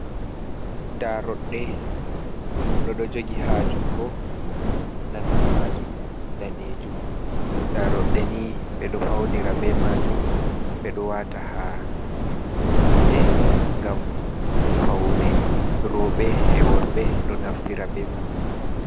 Daroɗɗe goɗɗo ɗo jogi ha jungo nandu majum danejum. Daroɗɗe ni ɓeɗo faunira be majum, ɓeɗo wata ha gite ngam faune. Roɓe e' worɓe ɗo naftira be man.